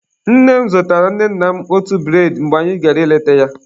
Nne m zụtaala nne nna m otu bụredị mgbe anyị gara ịleta ya.